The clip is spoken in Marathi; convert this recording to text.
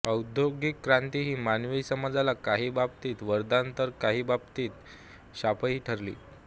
औद्योगिक क्रांती ही मानवी समाजाला काही बाबतीत वरदान तर काही बाबतीत शापही ठरली